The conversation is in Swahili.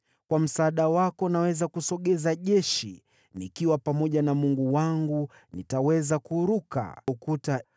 Kwa msaada wako naweza kushinda jeshi, nikiwa pamoja na Mungu wangu nitaweza kuruka ukuta.